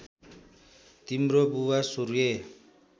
तिम्रो बुवा सूर्य